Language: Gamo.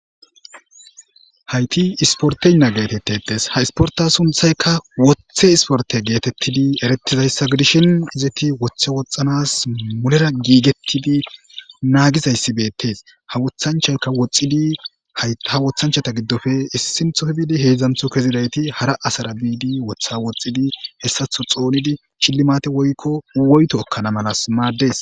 hayti isporteynna geetettetes ha isporta sunthayka woththe isporte geetettidi erettizayssa gidishin izeti wothe woxanas mulera giigetidi naagizayssi beettes ha wothanchayka woxxidi ha wothanchata giddofe issinthope bidi heedzdzantho kezidayti hara asara biidi wotha woxxidi hessatho xoonidi shillimate woykko woyto ekkana malas maaddees